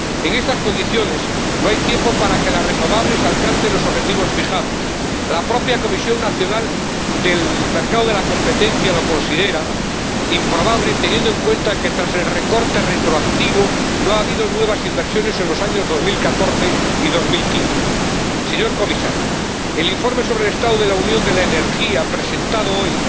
En estas condiciones, no hay tiempo para que las energías renovables alcancen los objetivos fijados. La propia Comisión Nacional de los Mercados y la Competencia lo considera improbable, teniendo en cuenta que tras el recorte retroactivo no ha habido nuevas inversiones en los años 2014 y 2015. Señor Comisario, el informe sobre la situación de la Unión de la Energía, presentado hoy,